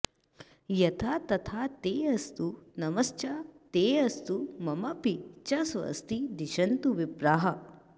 यथा तथा तेऽस्तु नमश्चतेऽस्तु ममापि च स्वस्ति दिशन्तु विप्राः